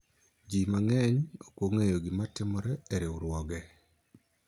jii mang'eny ok ong'eyo gima timore e riwruoge